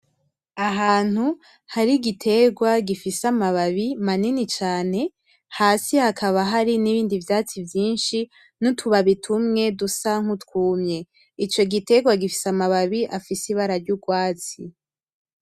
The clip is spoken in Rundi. Ahantu hari igiterwa gifise amababi manini cane hasi hakaba hari n'ibindi vyatsi vyinshi n'utubabi tumwe dusa nk'utwumye. Ico giterwa gifise amababi afise ibara ry'urwatsi.